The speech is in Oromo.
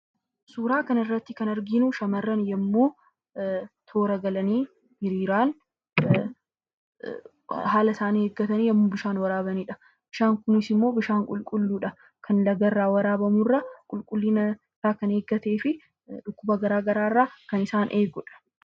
Suuraa kanarratti kan arginu shamarran yommuu toora galanii hiriiraan haala isaanii eeggatanii yommuu bishaan waraabanidha. Bishaan kunis immoo bishaan qulqulluudha. Kan lagarraa waraabamu irra qulqullina isaa kan eeggatee fi dhukkuba garaa garaa irraa kan isaan eegudha.